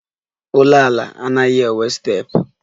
Ụlọala anaghị enwe steepụ